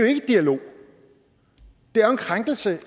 dialog det er jo en krænkelse